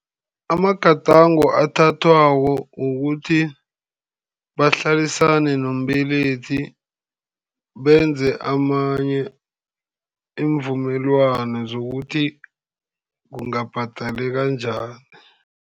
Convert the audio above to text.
Amagadango athathwako kukuthi bahlalisane nombelethi, benze amanye iimvumelwano zokuthi kungabhadaleka njani.